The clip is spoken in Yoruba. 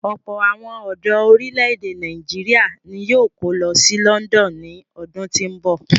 Ọ̀pọ̀ àwọn ọ̀dọ orílè-èdè Nàìjíríà ni yóò kó lọ sí London ní ọdún tí ń bọ̀.